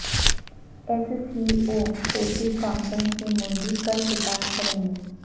S C اوچوٹی conference سے مودی کل خطاب کریں